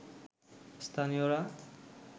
স্থানীয়রা